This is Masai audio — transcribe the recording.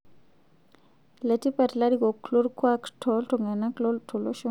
Letipat larikok lolkuak too ltung'ana tolosho